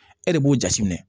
E de b'o jateminɛ